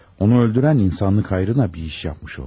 Onu öldürən insanlıq xeyrinə bir iş yapmış oldu.